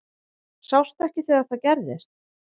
Sástu ekki þegar það gerðist?